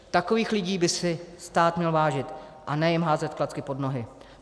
Takových lidí by si stát měl vážit, a ne jim házet klacky pod nohy.